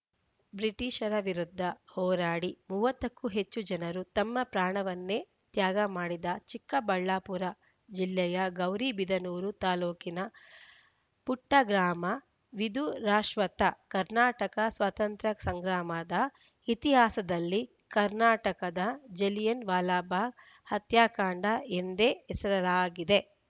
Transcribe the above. ಬ್ರಿಟಿಷರ ವಿರುದ್ಧ ಹೋರಾಡಿ ಮೂವತ್ತ ಕ್ಕೂ ಹೆಚ್ಚು ಜನರು ತಮ್ಮ ಪ್ರಾಣವನ್ನೇ ತ್ಯಾಗ ಮಾಡಿದ ಚಿಕ್ಕಬಳ್ಳಾಪುರ ಜಿಲ್ಲೆಯ ಗೌರಿ ಬಿದನೂರು ತಾಲೂಕಿನ ಪುಟ್ಟಗ್ರಾಮ ವಿಧುರಾಶ್ವತ್ಥ ಕರ್ನಾಟಕ ಸ್ವಾತಂತ್ರ್ಯ ಸಂಗ್ರಾಮದ ಇತಿಹಾಸದಲ್ಲಿ ಕರ್ನಾಟಕದ ಜಲಿಯನ್‌ ವಾಲಾಬಾಗ್‌ ಹತ್ಯಾಕಾಂಡ ಎಂದೇ ಹೆಸರಾಗಿದೆ